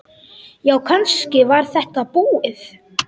Já, kannski var þetta búið.